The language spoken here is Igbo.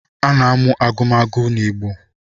A na-amụ agụmagụ n’Igbo